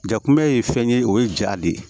Ja kunbɛ ye fɛn ye o ye ja de ye